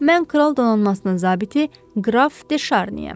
Mən kral donanmasının zabiti qraf De Şarniyəm.